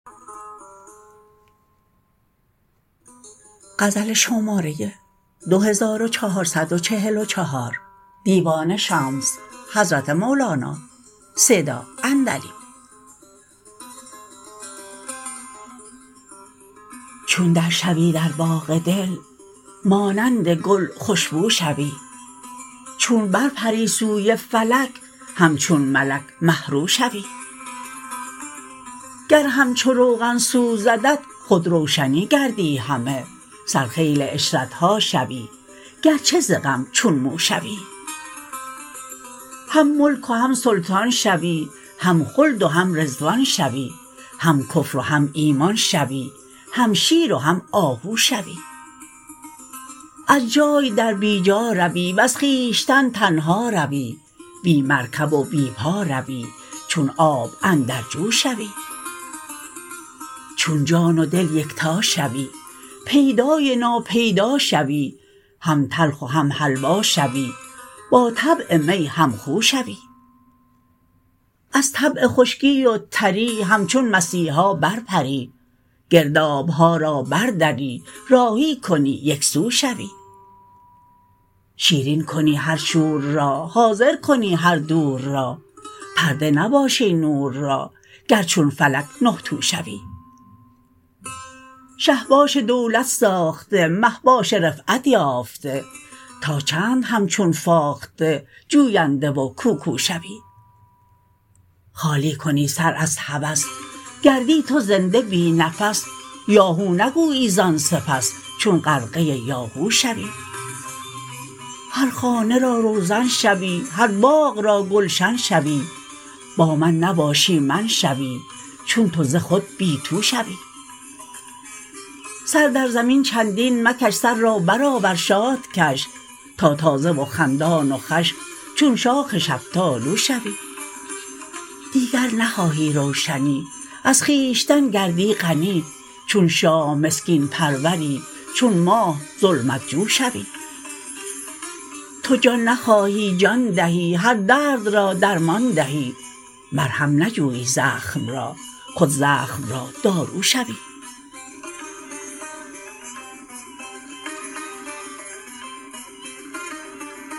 چون در شو ی در باغ دل مانند گل خوش بو شوی چون بر پر ی سوی فلک همچون ملک مه رو شوی گر همچو روغن سوزدت خود روشنی گردی همه سرخیل عشرت ها شوی گرچه ز غم چون مو شوی هم ملک و هم سلطان شوی هم خلد و هم رضوان شوی هم کفر و هم ایمان شوی هم شیر و هم آهو شوی از جای در بی جا روی وز خویشتن تنها روی بی مرکب و بی پا روی چون آب اندر جو شوی چون جان و دل یکتا شوی پیدا ی نا پیدا شوی هم تلخ و هم حلوا شوی با طبع می هم خو شوی از طبع خشکی و تر ی همچون مسیحا برپر ی گرداب ها را بر دری راهی کنی یک سو شوی شیرین کنی هر شور را حاضر کنی هر دور را پرده نباشی نور را گر چون فلک نه تو شوی شه باش دولت ساخته مه باش رفعت یافته تا چند همچون فاخته جوینده و کوکو شوی خالی کنی سر از هوس گردی تو زنده بی نفس یا هو نگویی زان سپس چون غرقه یاهو شوی هر خانه را روزن شوی هر باغ را گلشن شوی با من نباشی من شوی چون تو ز خود بی تو شوی سر در زمین چندین مکش سر را برآور شاد کش تا تازه و خندان و خوش چون شاخ شفتالو شوی دیگر نخواهی روشنی از خویشتن گردی غنی چون شاه مسکین پرور ی چون ماه ظلمت جو شوی تو جان نخواهی جان دهی هر درد را درمان دهی مرهم نجویی زخم را خود زخم را دارو شوی